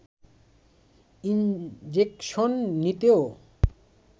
injection নিতেও